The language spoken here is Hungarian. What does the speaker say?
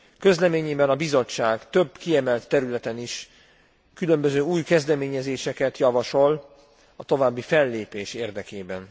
Közleményében a Bizottság több kiemelt területen is különböző új kezdeményezéseket javasol a további fellépés érdekében.